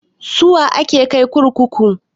Suwa ake kai kurkuku?